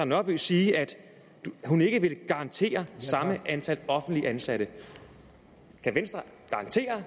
nørby sige at hun ikke vil garantere samme antal offentligt ansatte kan venstre garantere